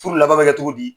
Furu laban bɛ kɛ cogo di